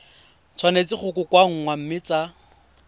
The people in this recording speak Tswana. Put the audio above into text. tshwanetse go kokoanngwa mme tsa